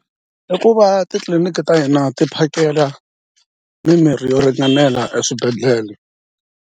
I ku va titliliniki ta hina ti phakela mimirhi yo ringanela eswibedhlele.